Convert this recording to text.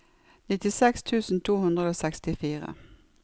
nittiseks tusen to hundre og sekstifire